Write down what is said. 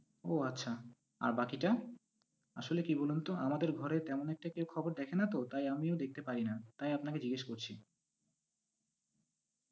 ও আচ্ছা, আর বাকিটা? আসলে কি বলুন তো আমাদের ঘরে তেমন একটা কেউ খবর দেখে না তো তাই আমিও দেখতে পাই না, তাই আপনাকে জিজ্ঞেস করছি।